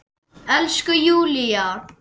Elsku Júlla!